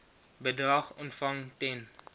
bedrag ontvang ten